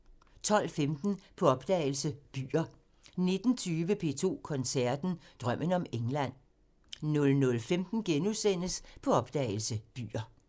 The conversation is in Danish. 12:15: På opdagelse – Byer 19:20: P2 Koncerten – Drømmen om England 00:15: På opdagelse – Byer *